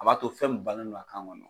A b'a to fɛn mun banen no a kan kɔnɔ.